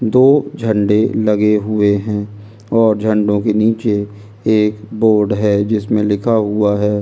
दो झंडे लगे हुए है और झंडों के नीचे एक बोर्ड है जिसमे लिखा हुआ है नैशनल --